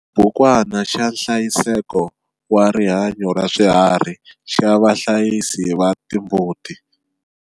Xibukwana xa nhlayiseko wa rihanyo raswiharhi xa vahlayisi va timbuti.